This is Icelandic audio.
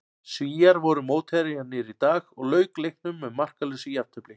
Svíar voru mótherjarnir í dag og lauk leiknum með markalausu jafntefli.